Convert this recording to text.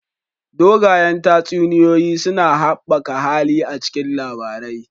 Dogayen tatsuniyoyi suna haɓaka hali a cikin labarai